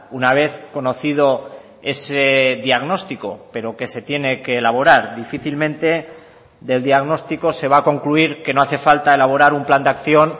una vez conocido ese diagnóstico pero que se tiene que elaborar difícilmente del diagnóstico se va a concluir que no hace falta elaborar un plan de acción